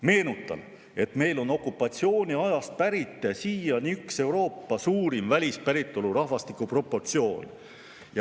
Meenutan, et meie välispäritolu rahvastiku proportsioon, mis on okupatsiooniajast pärit, on siiani üks Euroopa suurimaid.